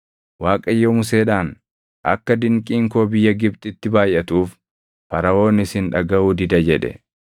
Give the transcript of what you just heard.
Waaqayyo Museedhaan, “Akka dinqiin koo biyya Gibxitti baayʼatuuf Faraʼoon isin dhagaʼuu dida” jedhe.